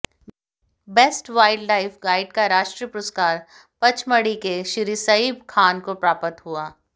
best wildlife guide का राष्ट्रीय पुरस्कार पचमढ़ी के श्री सईब खान को प्राप्त हुआ